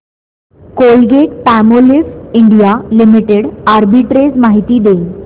Colgate Palmolive India limited arbitrage माहिती दे